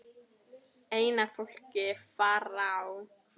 ein af fólki Faraó